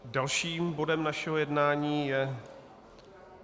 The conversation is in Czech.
Dalším bodem našeho jednání je